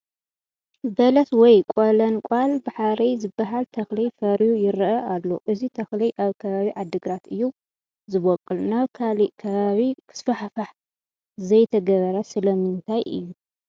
በለስ ወይ ቆለንቋል ባሕሪ ዝበሃል ተኽሊ ፈርዩ ይርአ ኣሎ፡፡ እዚ ተኽሊ ኣብ ከባቢ ዓዲግራት እዩ ዝበቑል፡፡ ናብ ካልእ ከባቢ ክስፋሕፋሕ ዘይተገብረ ስለምንታይ እዩ?